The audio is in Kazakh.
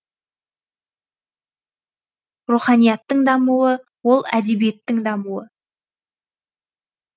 руханияттың дамуы ол әдебиеттің дамуы